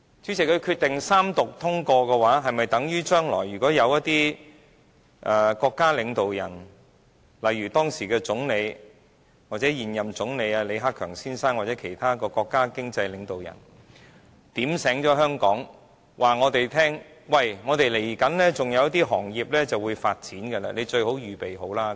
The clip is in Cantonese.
主席，如果決定三讀通過，是否等於將來如果有一些國家領導人，例如時任總理或現任總理李克強先生或其他國家經濟領導人，提醒香港人，他們稍後還有一些行業會發展，我們最好預備好。